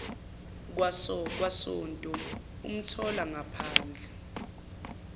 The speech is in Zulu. kwasonto umthola ephandle